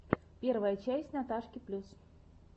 первая часть наташки плюс